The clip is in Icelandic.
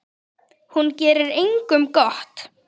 Hún gerir engum gott.